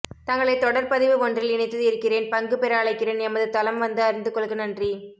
தங்களை தொடர் பதிவு ஒன்றில் இணைத்து இருக்கிறேன் பங்கு பெற அழைக்கிறேன் எமது தளம் வந்து அறிந்து கொள்க நன்றி